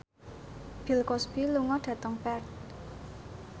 Bill Cosby lunga dhateng Perth